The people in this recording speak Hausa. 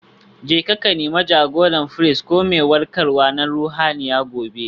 Jeka ku Nemi jagorar firist ko mai warkarwa na ruhaniya gobe.